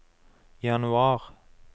januar